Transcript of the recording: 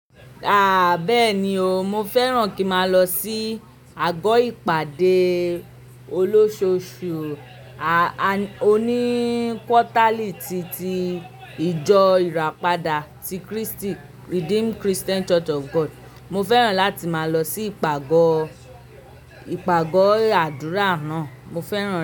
Aah! Bẹ́ẹ̀ni o, mo fẹ́ràn kí máa lọ sí àgọ́ ìpàdé olóṣòṣù o ní kútálìtí ti ìjọ ìràpadà ti krístì, Redeemed Christian Church of God. Mo fẹ́ràn láti máa lọ sí ìpàgọ́, ìpàgọ́ àdúrà náà. Mo fẹ́ràn.